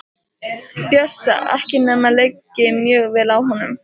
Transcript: Bjössa, ekki nema liggi mjög vel á honum.